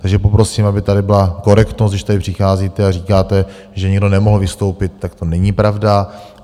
Takže poprosím, aby tady byla korektnost, když sem přicházíte a říkáte, že někdo nemohl vystoupit, tak to není pravda.